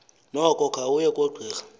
noko khawuye kogqira